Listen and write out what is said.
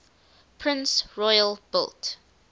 prince royal built